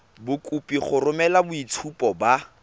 kopiwa go romela boitshupo ba